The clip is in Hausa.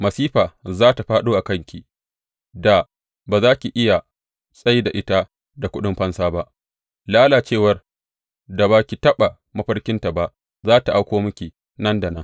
Masifa za tă fāɗo a kanki da ba za ki iya tsai da ita da kuɗin fansa ba; lalacewar da ba ki taɓa mafarkinta ba za tă auko miki nan da nan.